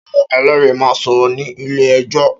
Áwòn èlèrí má n sòrò ni ilé èjò